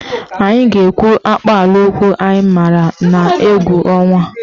Anyị ga-ekwu akpaalaokwu anyị maara n'oge egwu ọnwa.